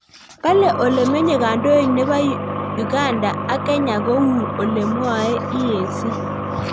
Kale ole menye kandoik nebo Uganda ak Kenya kou ole mwae EAC